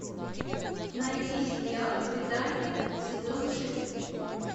найти сериал предание сезон шесть